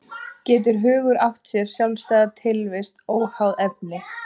Getur hugur átt sér sjálfstæða tilvist óháð efni?